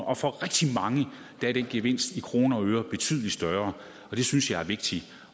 og for rigtig mange er den gevinst i kroner og øre betydelig større det synes jeg er vigtigt